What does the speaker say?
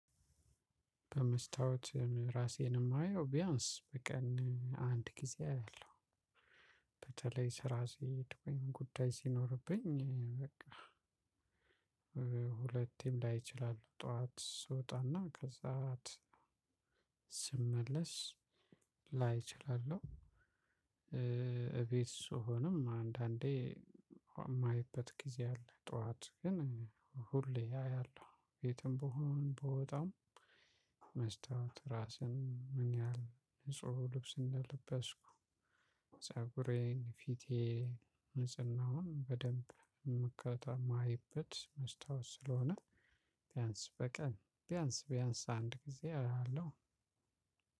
በመስታወት ራሴን የማየው ቢያንስ በቀን አንድ ጊዜ አለው። በተለይ ስራ ሲሄድ ወይም ጉዳይ ሲኖርብኝ በቃ። ሁለቴም ላይ ይችላል ጠዋት ስወጣና ከሰአት ስመለስ ላይ እችላለሁ። እቤት ስሆንም አንዳንዴ የማይበት ጊዜ አለ። ጠዋት ግን ሁሌ አያለሁ የትም ብሆን ብወጣም። መስታ ራስን ምን ያህል ንጹህ ልብስ እንደለበስኩ ፀጉሬን ፊቴ ንጽህናውን በደንብ የምከታ የማይበት መስታወት ስለሆነ። ቢያንስ በቀን ቢያንስ ቢያንስ አንድ ጊዜ አላለው።